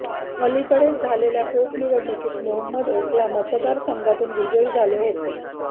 अलिकडेच झालेल्या पोटनिवडणुकीत मोहम्मद ओखला मतदारसंघातून विजयी झाले होते